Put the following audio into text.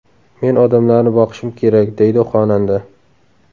Men odamlarni boqishim kerak”, deydi xonanda.